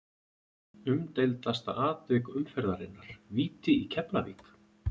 Umdeildasta atvik umferðarinnar: Víti í Keflavík?